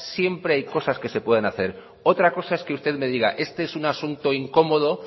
siempre hay cosas que se pueden hacer otra cosa es que usted me diga este es un asunto incómodo